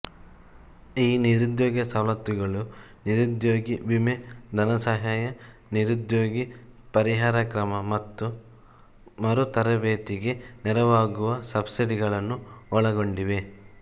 ಈ ನಿರುದ್ಯೋಗ ಸವಲತ್ತುಗಳು ನಿರುದ್ಯೋಗ ವಿಮೆ ಧನಸಹಾಯ ನಿರುದ್ಯೋಗ ಪರಿಹಾರ ಕ್ರಮ ಮತ್ತು ಮರುತರಭೇತಿಗೆ ನೆರವಾಗುವ ಸಬ್ಸಿಡಿಗಳನ್ನು ಒಳಗೊಂಡಿವೆ